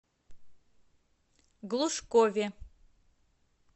глушкове